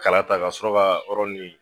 Kala ta ka sɔrɔ ka